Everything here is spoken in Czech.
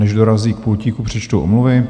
Než dorazí k pultíku, přečtu omluvy.